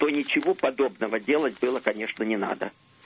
то ничего подобного делать было конечно не надо